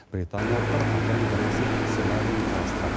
британиялықтар қатаң брексит сценарийін қарастырады